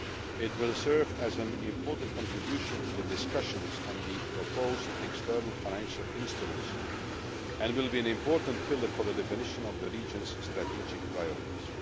It will serve as an important contribution to the discussions on the proposed external financial instruments and will be an important pillar for the definition of the region's strategic priorities.